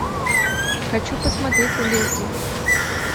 хочу посмотреть леди